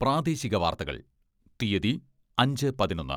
പ്രാദേശിക വാർത്തകൾ, തീയ്യതി അഞ്ചേ പതിനൊന്ന്.